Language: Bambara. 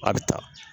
A bɛ taa